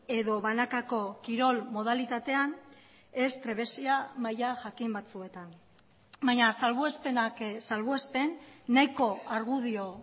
edo banakako kirol modalitatean ez trebezia maila jakin batzuetan baina salbuespenak salbuespen nahiko argudio